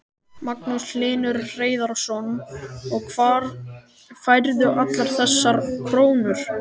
Magnús Hlynur Hreiðarsson: Og hvar færðu allar þessar krónur?